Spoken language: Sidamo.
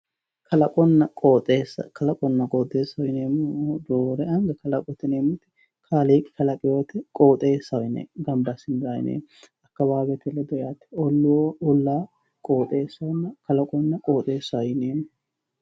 Kalaqonna qoxxeessa, kalaqonna qoxxeessa yineemmohu roore anga kalaqote yineemmoti kaaliiqi kalanqotta qoxxeessaho yineemmo gamba assine ollu olla qoxxeessaho yineemmo.